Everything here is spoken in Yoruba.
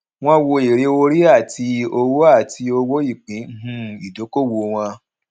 wọn wo èrè orí àti owó àti owó ìpín um ìdókòwò wọn